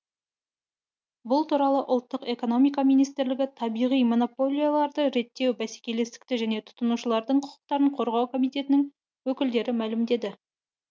бұл туралы ұлттық экономика министрлігі табиғи монополияларды реттеу бәсекелестікті және тұтынушылардың құқықтарын қорғау комитетінің өкілдері мәлімдеді